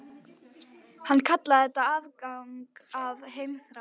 Hann kallaði þetta afgang af heimþrá.